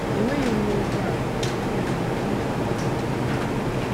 Enweghị m ụgbọala, ya mere m na - aga ije aga ije nke ukwuu.